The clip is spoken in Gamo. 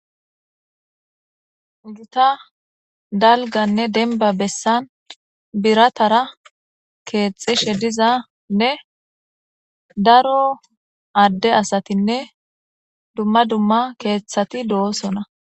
Uguta dalganne denba bessan biratara keexxishe dizanne daro adde asatinne dumma dumma keeththati do7osona.